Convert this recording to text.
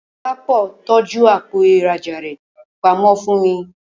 Dọlápọ̀ tọ́jú àpò ìrajà rẹ pamọ́ fún mi